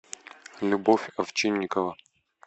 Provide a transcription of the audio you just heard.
любовь овчинникова